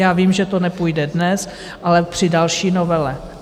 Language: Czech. Já vím, že to nepůjde dnes, ale při další novele.